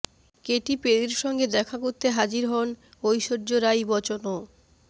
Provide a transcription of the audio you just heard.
Katie পেরির সঙ্গে দেখা করতে হাজির হন ঐশ্বর্য রাই বচ্চনও